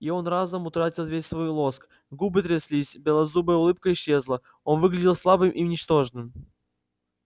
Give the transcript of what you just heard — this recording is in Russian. и он разом утратил весь свой лоск губы тряслись белозубая улыбка исчезла он выглядел слабым и ничтожным